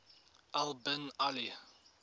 al bin ali